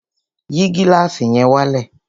Yìí gílàsì yẹn wálẹ̀!